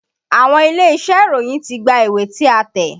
Àwọn ilé-iṣẹ́ oníròyìn ti gba ìwé tí a tẹ̀.